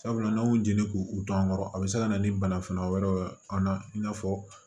Sabula n'an y'o jeneli k'u dɔn kɔrɔ a bɛ se ka na ni banafura wɛrɛw ye an na i n'a fɔ